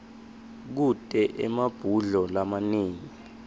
kute emabhudlo lamanengi